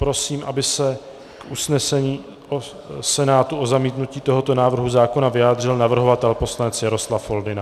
Prosím, aby se k usnesení Senátu o zamítnutí tohoto návrhu zákona vyjádřil navrhovatel poslanec Jaroslav Foldyna.